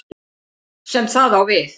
sem það á við.